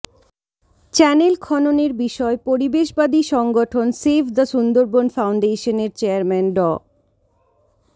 channel খননের বিষয় পরিবেশবাদী সংগঠন সেভ দ্য সুন্দরবন ফাউন্ডেশনের চেয়ারম্যান ড